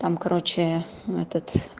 там короче этот